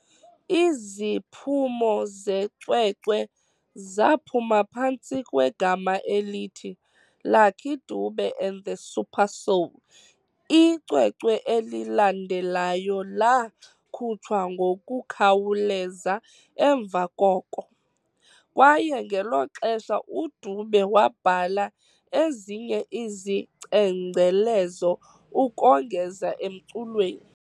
Iziphumo zecwecwe zaphuma phantsi kwegama elithi "Lucky Dube and the Supersoul". Icwecwe elilandelayo laakhutshwa ngokukhawuleza emva koko, kwaye ngelo xesha uDube wabhala ezinye izicengcelezo ukongeza emculweni.